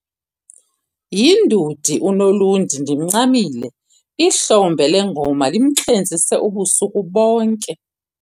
Yindudi uNolundi ndimncamile, ihlombe lengoma limxhentsise ubusuku bonke.